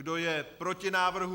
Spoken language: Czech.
Kdo je proti návrhu?